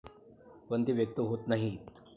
पण ते व्यक्त होत नाहीयत.